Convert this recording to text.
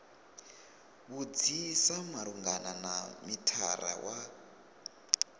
vhudzisa malugana na mithara wa